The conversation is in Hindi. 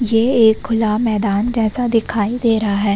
ये एक खुला मैदान जैसा दिखाई दे रहा है।